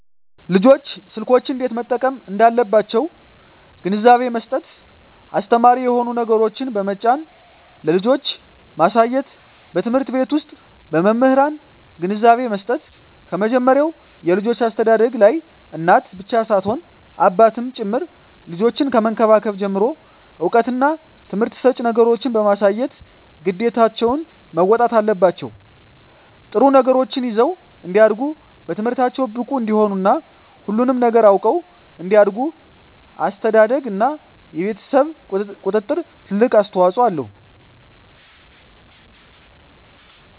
ልጆች ስልኮችን እንዴት መጠቀም እንዳለባቸዉ ግንዛቤ መስጠት አስተማሪ የሆኑ ነገሮችን በመጫን ለልጆች ማሳየትበትምህርት ቤት ዉስጥ በመምህራን ግንዛቤ መስጠት ከመጀመሪያዉ የልጆች አስተዳደግላይ እናት ብቻ ሳትሆን አባትም ጭምር ልጆችን ከመንከባከብ ጀምሮ እዉቀትና ትምህርት ሰጭ ነገሮችን በማሳየት ግዴታቸዉን መወጣት አለባቸዉ ጥሩ ነገሮችን ይዘዉ እንዲያድጉ በትምህርታቸዉ ብቁ እንዲሆኑ እና ሁሉንም ነገር አዉቀዉ እንዲያድጉ አስተዳደርግ እና የቤተሰብ ቁጥጥር ትልቅ አስተዋፅኦ አለዉ